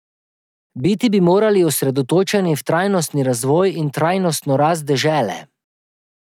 Biti bi morali osredotočeni v trajnostni razvoj in trajnostno rast dežele.